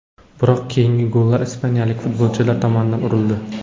Biroq keyingi gollar ispaniyalik futbolchilar tomonidan urildi.